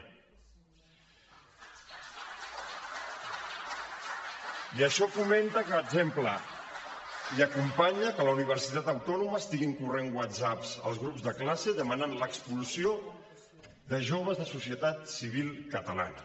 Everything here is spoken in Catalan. i això fomenta per exemple i acompanya que a la universitat autònoma estiguin corrent whatsapps als grups de classe que demanen l’expulsió de joves de societat civil catalana